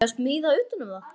Á ég að smíða utan um það?